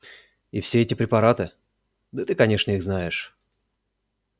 и все эти препараты да ты конечно их знаешь